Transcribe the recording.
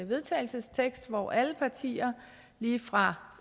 vedtagelsestekst hvor alle partier lige fra